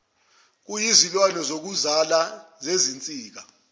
kuyizilwane zokuzala zezinsikazi